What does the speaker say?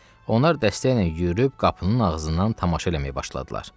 Onlar dəstəklə yüyürüb qapının ağzından tamaşa eləməyə başladılar.